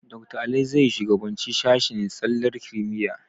Dakta Ali zai shugabanci sashen tsallar kimiyya.